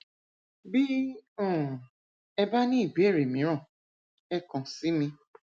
bí um ẹ bá ní ìbéèrè mìíràn ẹ kàn sí mi